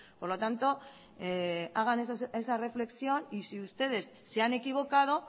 por lo tanto hagan esa reflexión y si ustedes se han equivocado